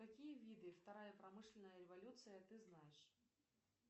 какие виды вторая промышленная революция ты знаешь